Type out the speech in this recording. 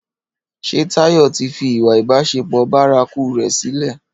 Ṣé Táyọ̀ tí fi ìwà ìbásẹpọ̀ bárakú rè sile